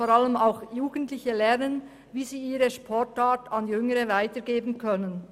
Vor allem auch Jugendliche lernen, wie sie ihre Sportart an Jüngere weitergeben können.